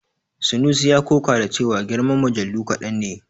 Sanusi ya ƙoƙa da cewa girman mujallu kaɗan ne.